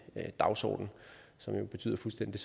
dagsorden som jo betyder fuldstændig